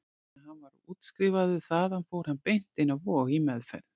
Þegar hann var útskrifaður þaðan fór hann beint inn á Vog, í meðferð.